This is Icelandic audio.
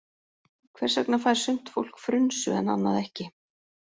Hvers vegna fær sumt fólk frunsu en annað ekki?